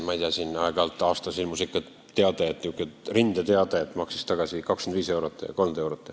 Aeg-ajalt ikka ilmus säärane rindeteade, et ta maksis aastas tagasi 25 eurot või 30 eurot.